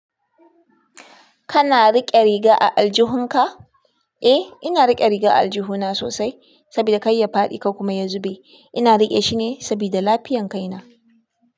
Kana rike riga a aljihun ka? Eh, ina rike riga a aljihuna sosai. Sabida kar ya fadi ko kuma ya zube. Ina riƙe shi ne sabida lafiyan kai na.